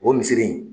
O misiri in